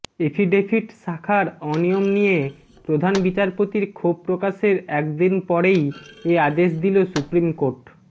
affidavit শাখার অনিয়ম নিয়ে প্রধান বিচারপতির ক্ষোভ প্রকাশের একদিন পরেই এ আদেশ দিল সুপ্রিম কোর্ট